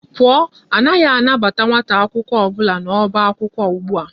Pụọ, anaghị anabata nwata akwụkwọ ọbụla n'ọba akwụkwọ ụgbụa!